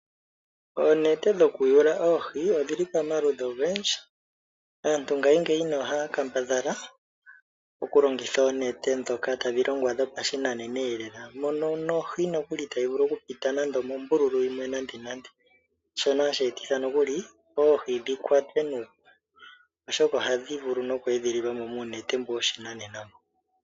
Oonete dhokuyula oohi odhili pamaludhi ogendji. Aantu ngashingeyi ohaya kambadhala oku longitha oonete ndhoka tadhi longwa dhopashinanena eelela mono nohi nokuli itayi vuli oku pita pombululu yimwe nande nande, shono hashi etitha nokuli oohi dhi kwatwe nuupu oshoka ohadhi vulu oku edhililwa mo muunete mbo woshinanena.